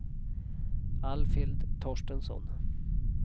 Alfhild Torstensson